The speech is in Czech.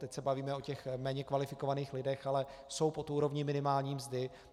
Teď se bavíme o těch méně kvalifikovaných lidech, ale jsou pod úrovní minimální mzdy.